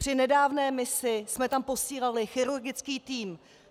Při nedávné misi jsme tam posílali chirurgický tým.